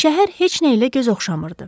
Şəhər heç nə ilə göz oxşamırdı.